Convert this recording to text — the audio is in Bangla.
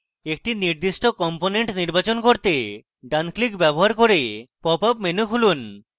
একটি নির্দিষ্ট component নির্বাচন করতে ডান click ব্যবহার করে popup menu খুলুন